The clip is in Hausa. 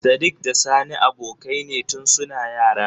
Sadik da sani abokai ne tun suna yara.